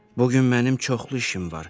“Bugün mənim çoxlu işim var.